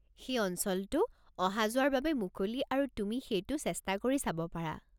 সেই অঞ্চলটো অহা-যোৱাৰ বাবে মুকলি আৰু তুমি সেইটো চেষ্টা কৰি চাব পাৰা।